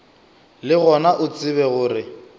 le gona o tsebe gore